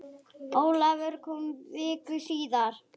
Ólafur kom viku síðar.